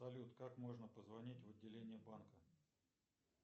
салют как можно позвонить в отделение банка